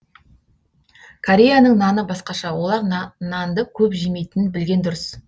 кореяның наны басқаша олар нанды көп жемейтінін білген дұрыс